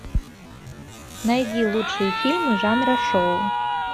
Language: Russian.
найди лучшие фильмы жанра шоу